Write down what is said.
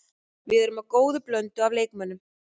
Við erum með góða blöndu af leikmönnum.